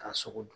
K'a sogo dun